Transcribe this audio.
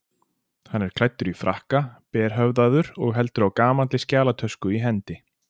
Hann er klæddur í frakka, berhöfðaður og heldur á gamalli skjalatösku í hendi.